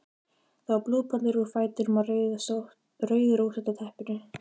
Það var blóðpollur úr fætinum á rauðrósótta teppinu.